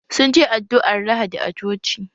Sun je addu'ar lahadi a coci